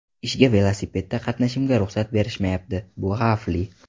Ishga velosipedda qatnashimga ruxsat berishmayapti bu xavfli.